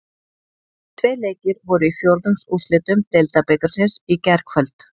Tveir leikir voru í fjórðungsúrslitum Deildabikarsins í gærkvöld.